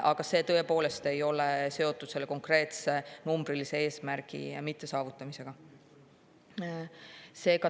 Aga see tõepoolest ei ole seotud selle konkreetse numbrilise eesmärgi mittesaavutamisega.